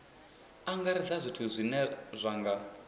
angaredza zwithu zwine zwa nga